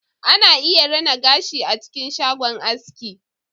Ana iya rina gashi a cikin shago aiski